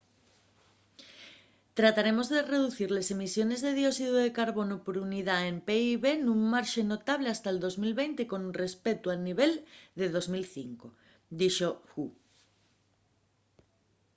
trataremos de reducir les emisiones de dióxidu de carbonu por unidá del pib nun marxe notable hasta’l 2020 con respeuto al nivel de 2005,” dixo hu